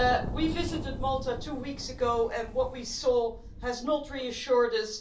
We visited Malta two weeks ago and what we saw has not reassured us